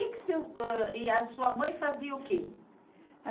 E a sua mãe fazia o quê?